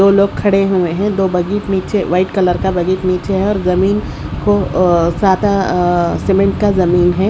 दो लोग खड़े हुए हैं दो नीचे वाइट कलर का बजट नीचे है और जमीन को अ सादा अ सीमेंट का जमीन है।